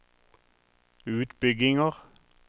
utbygginger